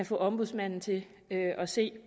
få ombudsmanden til at se